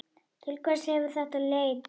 Til hvers hefur þetta leitt?